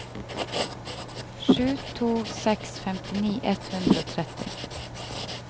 sju to åtte seks femtini ett hundre og tretti